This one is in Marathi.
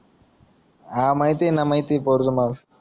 हा माहिते माहिते